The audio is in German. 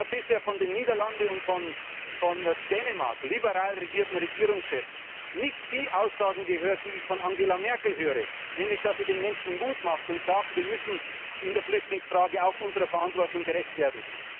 Ich habe bisher von den Niederlanden und von Dänemark mit liberalen Regierungschefs nicht die Aussagen gehört, die ich von Angela Merkel höre, nämlich die, dass sie den Menschen Mut macht und sagt Wir müssen in der Flüchtlingsfrage auch unserer Verantwortung gerecht werden.